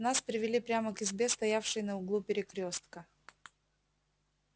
нас привели прямо к избе стоявшей на углу перекрёстка